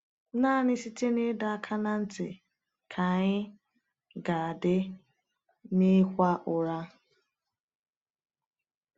Naanị site n’ịdọ aka ná ntị ka anyị ga-adị n’ịkwa ụra.